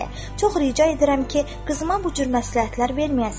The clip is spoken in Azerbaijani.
"Çox rica edirəm ki, qızıma bu cür məsləhətlər verməyəsən.